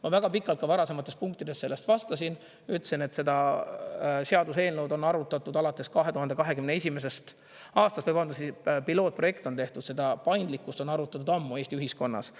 " Ma väga pikalt ka varasemates punktides sellest vastasin, ütlesin, et seda seaduseelnõu on arutatud alates 2021. aastast, või vabandust, pilootprojekt on tehtud, seda paindlikkust on arutatud ammu Eesti ühiskonnas.